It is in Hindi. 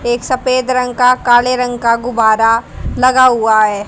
एक सफेद रंग का काले रंग का गुब्बारा लगा हुआ है।